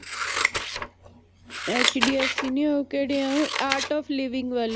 HDFC ਨੀ ਉਹ ਕਿਹੜੇ ਆ ਉਹ art of living ਵਾਲੇ